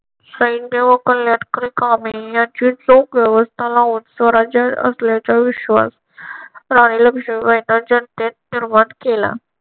सैन्य व कल्याणकारी कामे यांची चोख व्यवस्था लावून स्वराज्य असल्याचा विश्वास राणी लक्ष्मीबाईंनी जनतेत निर्माण केला.